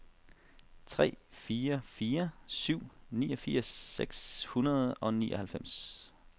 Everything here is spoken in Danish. tre fire fire syv niogfirs seks hundrede og nioghalvfems